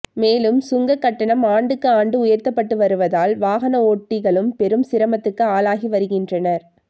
மேலும் சுங்க கட்டணம் ஆண்டுக்கு ஆண்டு உயர்த்தப்பட்டு வருவதால் வாகன ஓட்டிகளும் பெரும் சிரமத்துக்கு ஆளாகி வருகின்றனர்